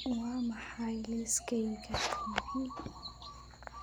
waa maxay liiskayga t v.